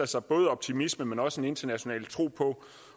sig både optimisme men også en international tro på